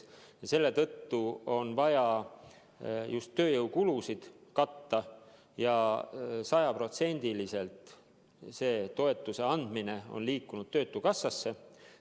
Selle tõttu on vaja just tööjõukulusid katta ja selle toetuse andmine on sajaprotsendiliselt liikunud töötukassasse.